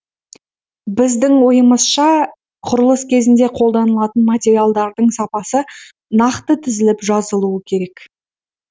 біздің ойымызша құрылыс кезінде қолданылатын материалдардың сапасы нақты тізіліп жазылуы керек